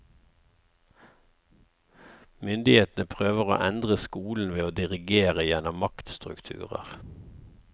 Myndighetene prøver å endre skolen ved å dirigere gjennom maktstrukturer.